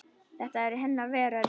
Þetta var hennar veröld.